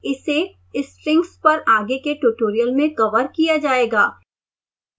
इसे strings पर आगे के ट्यूटोरियल में कवर किया जाएगा